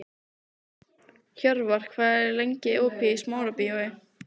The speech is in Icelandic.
Hjörvar, hvað er lengi opið í Smárabíói?